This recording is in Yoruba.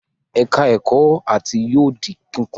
Ẹ̀ka-ẹ̀kọ́ áátì yóò di kíkùn.